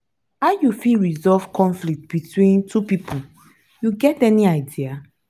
how you fit resolve conflict between two people you get any idea?